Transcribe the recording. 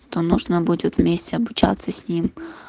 то нужно будет вместе обучаться с ним